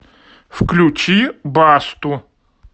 включи басту